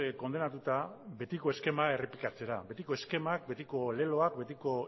kondenatuta betiko eskema errepikatzera betiko eskemak betiko leloak betiko